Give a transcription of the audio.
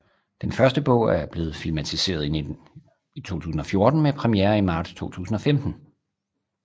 Den første bog er blevet filmatiseret i 2014 med premiere i marts 2015